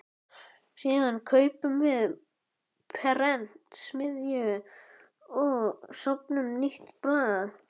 Síðan kaupum við prentsmiðju og stofnum nýtt blað.